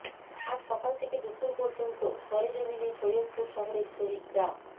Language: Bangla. আজ সকাল থেকে দুপুর পর্যন্ত সরেজমিনে সৈয়দপুর শহরের শহীদ ডা